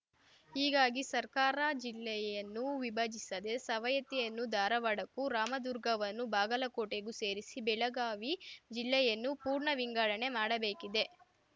ಹೀಗಾಗಿ ಸರ್ಕಾರ ಜಿಲ್ಲೆಯನ್ನು ವಿಭಜಿಸದೆ ಸವಯತ್ತಿಯನ್ನು ಧಾರವಾಡಕ್ಕೂ ರಾಮದುರ್ಗವನ್ನು ಬಾಗಲಕೋಟೆಗೂ ಸೇರಿಸಿ ಬೆಳಗಾವಿ ಜಿಲ್ಲೆಯನ್ನು ಪೂರ್ಣ ವಿಂಗಡಣೆ ಮಾಡಬೇಕಿದೆ